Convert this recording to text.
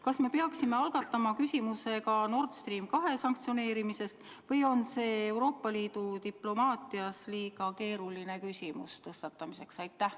Kas me peaksime algatama küsimuse ka Nord Stream 2 sanktsioneerimise kohta või on see Euroopa Liidu diplomaatias liiga keeruline küsimus, mida tõstatada?